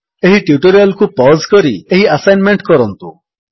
ଏହି ଟ୍ୟୁଟୋରିଆଲ୍ କୁ ପଜ୍ କରି ଏହି ଆସାନମେଣ୍ଟ କରନ୍ତୁ